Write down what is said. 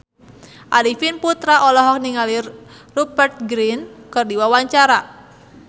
Arifin Putra olohok ningali Rupert Grin keur diwawancara